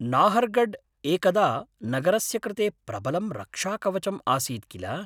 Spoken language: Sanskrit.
नाहर्गढ् एकदा नगरस्य कृते प्रबलं रक्षाकवचम् आसीत्, किल?